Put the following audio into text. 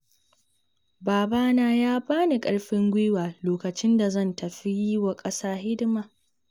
Babana ya bani ƙarfin guiwa lokacin da zan tafi yi wa ƙasa hidima.